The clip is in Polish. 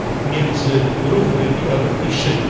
między równymi a równiejszymi.